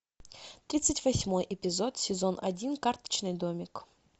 тридцать восьмой эпизод сезон один карточный домик